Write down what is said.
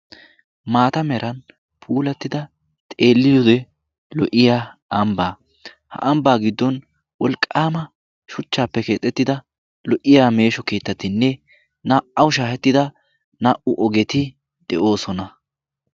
maata meran puulattida xeeliyude lo''iya ambbaa ha ambbaa giddon wolqqaama shuchchaappe keexettida lo''iya meesho keettatinne naa''aw shaahettida naa''u ogeti de'oosona